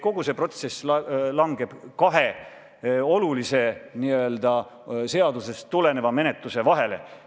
Kogu see protsess langeb kahe olulise, n-ö seadusest tuleneva menetluse vahele.